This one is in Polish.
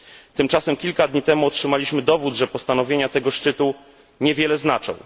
Tymczasem kilka dni temu otrzymaliśmy dowód, że postanowienia tego szczytu niewiele znaczą.